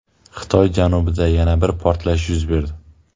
Xitoy janubida yana bir portlash yuz berdi.